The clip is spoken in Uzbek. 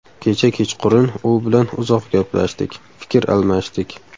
Kecha kechqurun u bilan uzoq gaplashdik, fikr almashdik.